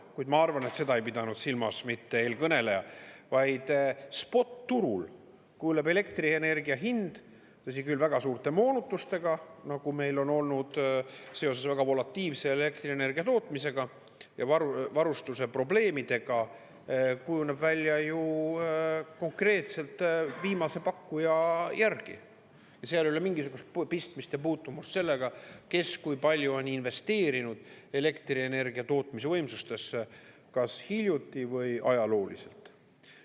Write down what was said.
Kuid ma arvan, et seda ei pidanud silmas mitte eelkõneleja vaid spot-turul kujuneb elektrienergia hind, tõsi küll, väga suurte moonutustega, nagu meil on olnud seoses väga volatiilse elektrienergia tootmisega, ja varustuse probleemidega kujuneb välja ju konkreetselt viimase pakkuja järgi, seal ei ole mingisugust pistmist ja puutumust sellega, kes kui palju on investeerinud elektrienergia tootmise võimsustesse kas hiljuti või ajalooliselt.